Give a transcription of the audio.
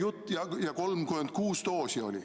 Tal oli 36 doosi.